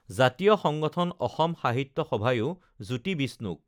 জাতীয় সংগঠন অসম সাহিত্য সভায়ো জ্যোতি বিষ্ণুক